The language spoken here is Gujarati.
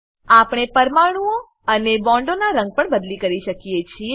આપણે પરમાણુંઓ અને બોન્ડોનાં રંગ પણ બદલી કરી શકીએ છીએ